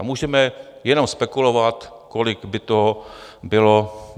A můžeme jenom spekulovat, kolik by to bylo.